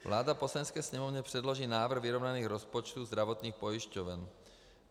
Vláda Poslanecké sněmovně předloží návrh vyrovnaných rozpočtů zdravotních pojišťoven.